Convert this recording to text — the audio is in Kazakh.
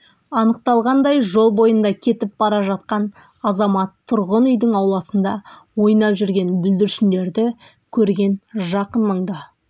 анықталғандай жол бойында кетіп бара жатқан азамат тұрғын үйдің ауласында ойнап жүрген бүлдіршіндерді көрген жақын маңда